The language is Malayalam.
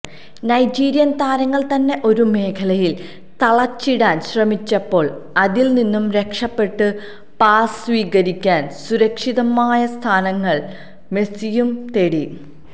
നൈജീരിയൻ താരങ്ങൾ തന്നെ ഒരു മേഖലയിൽ തളച്ചിടാൻ ശ്രമിച്ചപ്പോൾ അതിൽനിന്നു രക്ഷപ്പെട്ട് പാസ് സ്വീകരിക്കാൻ സുരക്ഷിതമായ സ്ഥാനങ്ങൾ മെസ്സിയും തേടി